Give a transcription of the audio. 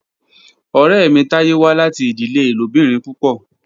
Ọrẹ mi Taye wa lati idile ilobirin pupọ.